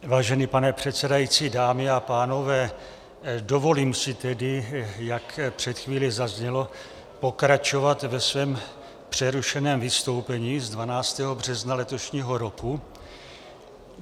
Vážený pane předsedající, dámy a pánové, dovolím si tedy, jak před chvílí zaznělo, pokračovat ve svém přerušeném vystoupení z 12. března letošního roku.